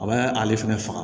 A b'a ale fɛnɛ faga